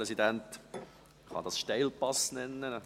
Dies kann man einen Steilpass nennen!